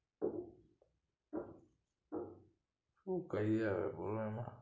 હું કઈ ના રોવાના